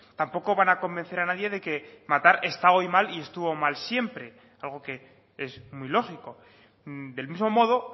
tampoco van a convencer a nadie de que matar está hoy mal y estuvo mal siempre algo que es muy lógico del mismo modo